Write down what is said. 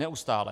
Neustále.